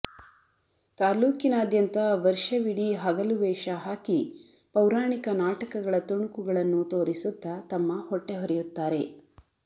ತಾಲೂಕಿನಾದ್ಯಂತ ವರ್ಷವಿಡೀ ಹಗಲುವೇಷ ಹಾಕಿ ಪೌರಾಣಿಕ ನಾಟಕಗಳ ತುಣುಕುಗಳನ್ನು ತೋರಿಸುತ್ತ ತಮ್ಮ ಹೊಟ್ಟೆ ಹೊರೆಯುತ್ತಾರೆ